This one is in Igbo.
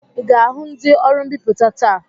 I ga-ahụ ndị ọrụ mbipụta taa?